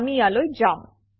আমি ইয়ালৈ যাম